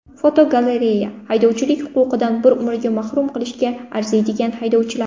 Fotogalereya: Haydovchilik huquqidan bir umrga mahrum qilishga arziydigan haydovchilar.